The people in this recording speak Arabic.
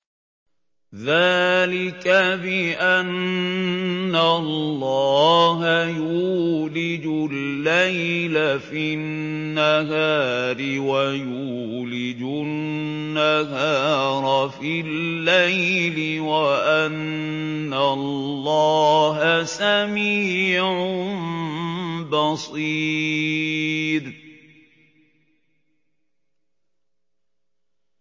ذَٰلِكَ بِأَنَّ اللَّهَ يُولِجُ اللَّيْلَ فِي النَّهَارِ وَيُولِجُ النَّهَارَ فِي اللَّيْلِ وَأَنَّ اللَّهَ سَمِيعٌ بَصِيرٌ